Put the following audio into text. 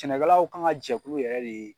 Cɛnɛkɛlaw kan ka jɛkulu yɛrɛ de